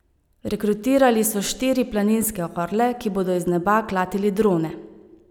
Rekrutirali so štiri planinske orle, ki bodo iz neba klatili drone.